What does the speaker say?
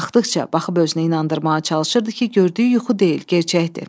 Baxdıqca baxıb özünü inandırmağa çalışırdı ki, gördüyü yuxu deyil, gerçəkdir.